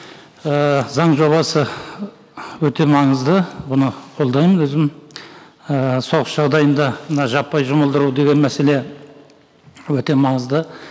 ыыы заң жобасы өте маңызды бұны қолдаймын өзім ыыы соғыс жағдайында мына жаппай жұмылдыру деген мәселе өте маңызды